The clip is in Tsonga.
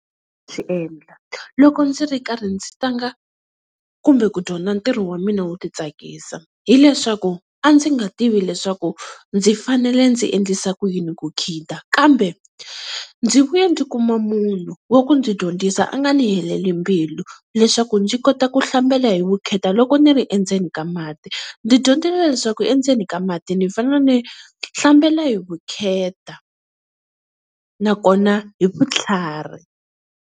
loko ndzi ri karhi ndzi tlanga kumbe ku dyondza ntirho wa mina wo titsakisa, hileswaku a ndzi nga tivi leswaku ndzi fanele ndzi endlisa ku yini ku khida, kambe ndzi vuye ndzi kuma munhu wa ku ndzi dyondzisa a nga ni heleli mbilu leswaku ndzi kota ku hlambela hi vukheta loko ni ri endzeni ka mati. Ndzi dyondzile leswaku endzeni ka mati ni fanele ni hlambela hi vukheta nakona hi vutlhari.